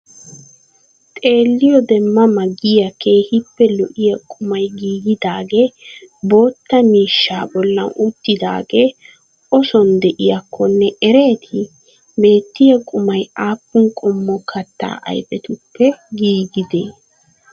Xeelliyode ma ma giya keehippe lo'iya qumay giggidaagee botta miishshaa bollan uttidagee oson de'iyakkonne ereetii? Beettiya qumay appun qommo katta ayfetuppe giggidee?